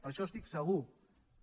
per això estic segur que